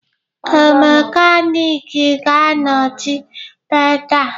Ee, mekaniki ga-anọchi pedal